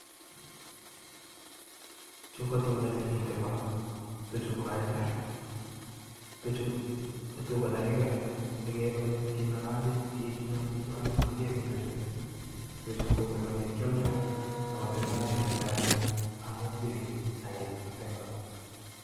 Chuu ko Tuga chemitei ko tuchu kokaratin tuchuu magiagi tuchu makialdai amun kakikar sigepae kityo